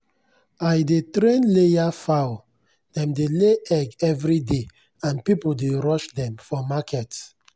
i dey train layer fowl—dem dey lay egg every day and people dey rush dem for market.